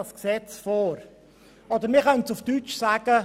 Man könnte auch sagen: